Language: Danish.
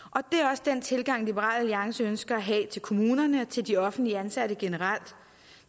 også den tilgang liberal alliance ønsker at have til kommunerne og til de offentligt ansatte generelt